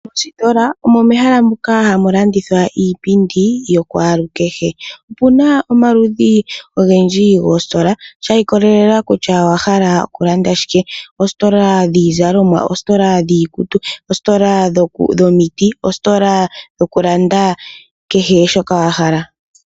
Mositola omo mehala moka hamu landithwa iipindi ya kwalukehe. Opu na omaludhi ogendji goositola sha ikolelela kutya owa hala okulanda shike. Oositola dhiizalomwa, oositola dhiikutu, oositola dhomiti, oositola dhokulanda kehe shoka wa hala.